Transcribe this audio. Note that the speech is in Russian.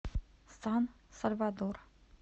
сан сальвадор